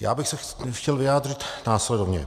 já bych se chtěl vyjádřit následovně.